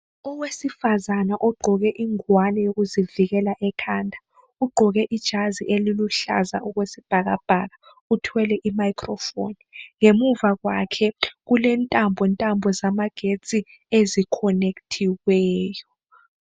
Owesifazana ogqoke ingwane yokuzivikela ekhanda ugqoke ijazi eliluhlaza okwesibhakabhaka uthwele imicrophone. Ngemuva kwakhe kulentambo ntambo zamagetsi ezikhonekithiweyo.